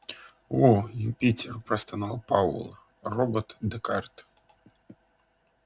о юпитер простонал пауэлл робот-декарт